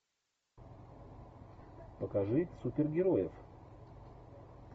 покажи супергероев